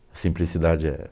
Simplicidade é...